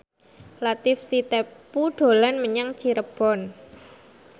Latief Sitepu dolan menyang Cirebon